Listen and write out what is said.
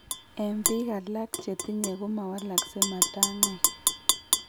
En Biik alak chetinye ko mawalaskei matangaik